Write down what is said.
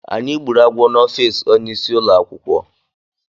Anyị gbúrù agwọ n'ofici ọnye ịsị ụlọakwụkwọ.